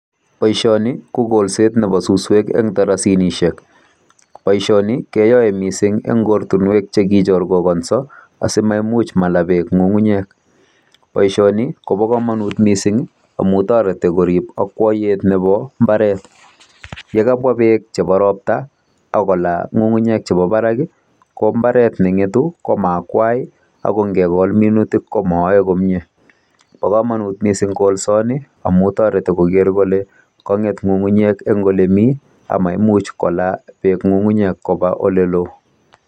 Boiisioni ko kolset nebo suswek en. Boisioni keyoe mising en ortinwek che kechorkokonso asimaimuch malaa beek ng'ung'unyek. Boisisoni kobo komonut mising amun toreti korib akwayeit nebo mbaret. Ye kabwa beek chebo ropta ak kolaa ng'ung'unyek chebo barak. Ko mbaret neng'etu koma akwai ago ingekol minutik komoyoe komie. Bo komonut mising kolsoni amun toreti koger kole kong'et ng'ng'unyek en ole mi ama imuch kolaa beek ng'ung'nyek koba ole loo.